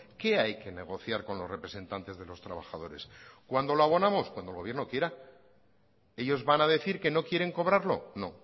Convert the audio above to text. qué hay que negociar con los representantes de los trabajadores cuándo lo abonamos cuando el gobierno quiera ellos van a decir que no quieren cobrarlo no